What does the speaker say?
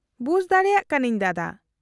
-ᱵᱩᱡᱽ ᱫᱟᱲᱮᱭᱟᱜ ᱠᱟᱱᱟᱹᱧ ᱫᱟᱫᱟ ᱾